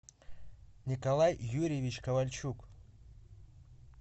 николай юрьевич ковальчук